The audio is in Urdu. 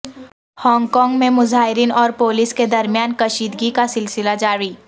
ہانگ کانگ میں مظاہرین اور پولیس کے درمیان کشیدگی کا سلسلہ جاری